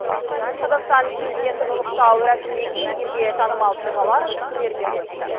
қазақстан президентін ұлықтау рәсімінен кейін елге танымал тұлғалар пікірлерімен бөлісті